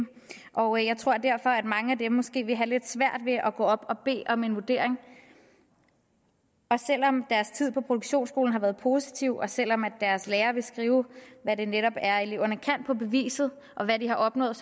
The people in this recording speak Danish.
og jeg tror derfor at mange af dem måske vil have lidt svært ved at gå op at bede om en vurdering også selv om deres tid på produktionsskolen har været positiv og selv om deres lærer vil skrive hvad det netop er eleverne kan på beviset og hvad de har opnået